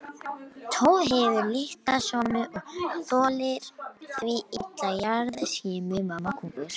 Torfhleðslan hefur litla samloðun og þolir því illa jarðskjálftahreyfinguna.